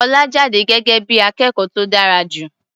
Ọlá jáde gẹ́gẹ́ bí i akẹ́kọ̀ó tó dára jù.